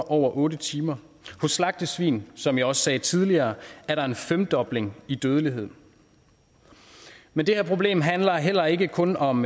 over otte timer på slagtesvin som jeg også sagde tidligere er der en femdobling i dødelighed men det her problem handler heller ikke kun om